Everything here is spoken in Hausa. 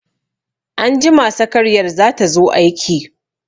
Anjima sakariyar za ta zo aiki.